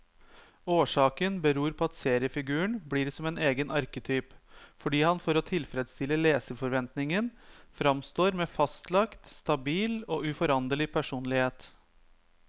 Årsaken beror på at seriefiguren blir som egen arketyp, fordi han for å tilfredstille leserforventningen framstår med fastlagt, stabil og uforanderlig personlighet.